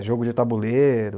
É, jogo de tabuleiro.